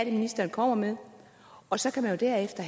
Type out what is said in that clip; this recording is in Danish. er ministeren kommer med og så derefter